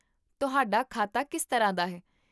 ਤੁਹਾਡਾ ਖਾਤਾ ਕਿਸ ਤਰ੍ਹਾਂ ਦਾ ਹੈ?